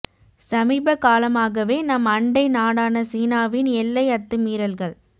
சமீப காலமாகவே நம் அண்டை நாடான சீனாவின் எல்லை அத்து மீறல்கள்